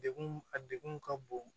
Degun a degun ka bon